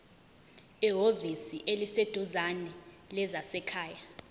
ehhovisi eliseduzane lezasekhaya